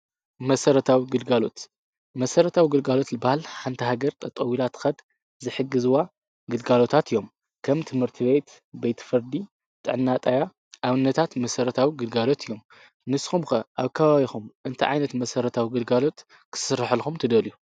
መሰረታዊ ግልጋሎት፣ መሰረታው ግልጋሎት ዝበሃል ሓንታ ሃገር ጠጠው ኢላ ትኸድ ዝሕግዝዋ ግልጋሎታት እዮም። ከም ትምህርቲ ቤት ቤት፣ ቤት ፈርዲ ጥዕና ጣብያ ኣብነታዊ መሠረታዊ ግልጋሎት እዮም። ንስኹም ከ ኣብ ከባቢኹም እንታ ዓይነት መሰረታዊ ግልጋሎት ክስርሕልኹም ትደልዩ?